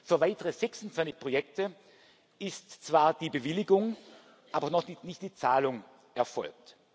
Für weitere 26 Projekte ist zwar die Bewilligung, aber noch nicht die Zahlung erfolgt.